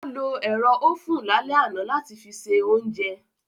Ó lo ero ofun lálẹ́ àná láti fi ṣe oúnjẹ